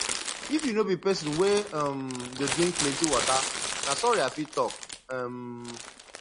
if you no be pesin wey um dey drink plenty water na sorry i fit talk um